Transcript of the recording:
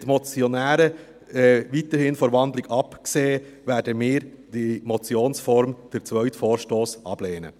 Wenn die Motionäre weiterhin von der Wandlung absehen, werden wir den zweiten Vorstoss in Motionsform ablehnen.